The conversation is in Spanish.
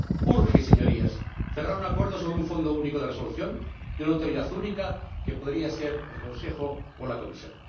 Urge, Señorías, cerrar un acuerdo sobre un fondo único de resolución y una autoridad única, que podría ser el Consejo o la Comisión.